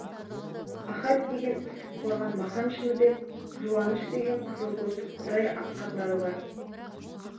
ахат деген үсіп қорған махан шыныбек жуаныш деген қызылкөз құдай атқандар бар